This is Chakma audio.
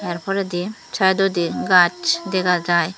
tar poredi saetodi gach dega jai.